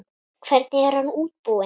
Hvernig er hann útbúinn?